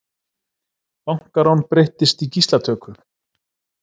Bankarán breyttist í gíslatöku